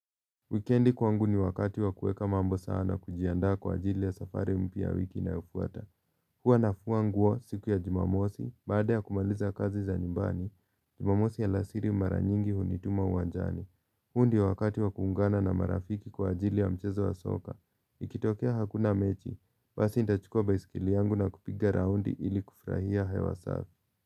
Wikiendi kwangu ni wakati wa kuweka mambo sawa na kujiandaa kwa ajili ya safari mpya ya wiki inayofuata. Huwa nafua nguo siku ya Jumamosi, baada ya kumaliza kazi za nyumbani, Jumamosi alasiri mara nyingi hunituma uwanjani. Huu ndiyo wakati wa kuungana na marafiki kwa ajili ya mchezo wa soka. Ikitokea hakuna mechi, basi nitachukua baiskeli yangu na kupiga round ili kufurahia hewa safi.